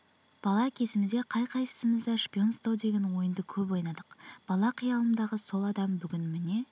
бала кезімізде қай-қайсымыз да шпион ұстау деген ойынды көп ойнадық бала қиялымдағы сол адам бүгін міне